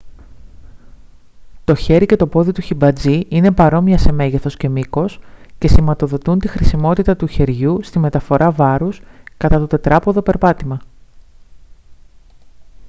το χέρι και το πόδι του χιμπατζή είναι παρόμοια σε μέγεθος και μήκος και σηματοδοτούν τη χρησιμότητα του χεριού στη μεταφορά βάρους κατά το τετράποδο περπάτημα